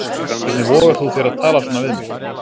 Hvernig vogar þú þér að tala svona við mig.